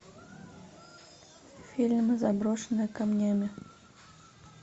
фильм заброшенная камнями